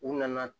U nana